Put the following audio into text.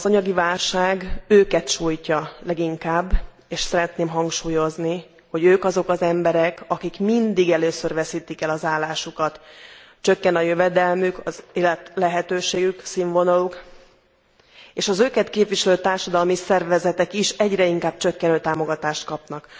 Az anyagi válság őket sújtja leginkább és szeretném hangsúlyozni, hogy ők azok az emberek, akik mindig először veszítik el az állásukat, csökken a jövedelmük, az életlehetőségük, színvonaluk és az őket képviselő társadalmi szervezetek is egyre inkább csökkenő támogatást kapnak.